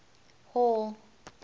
hall